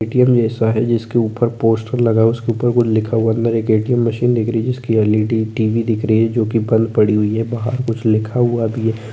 जिस क ऊपर पोस्टर लगा है उस क ऊपर कुछ लिखा नीचे मशीन लगा हुआ है जिस पर एलईडी टीवी